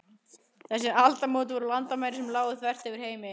Þessi aldamót voru landamæri sem lágu þvert yfir heiminn.